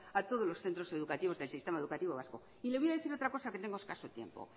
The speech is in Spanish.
a todos los centros educativos del sistema educativo vasco y le voy a decir otra cosa que tengo escaso tiempo